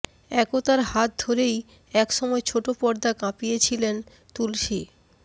একতার হাত ধরেই একসময় ছোট পর্দা কাঁপিয়ে ছিলেন তুলসী